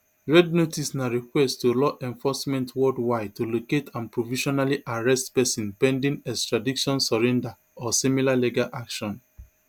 red notice na request to law enforcement worldwide to locate and provisionally arrest pesin pending extradition surrender or similar legal action